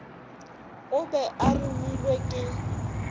o be a romilwe ke